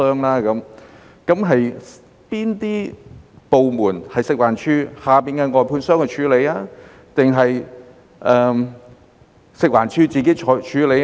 哪些是食環署轄下的外判商處理，或是食環署自己處理呢？